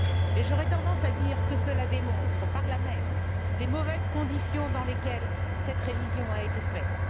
Et j'aurais tendance à dire que cela démontre par là même les mauvaises conditions dans lesquelles cette révision a été faite.